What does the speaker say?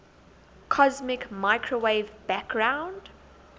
cosmic microwave background